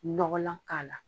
Ɲɔgɔlan k'a la.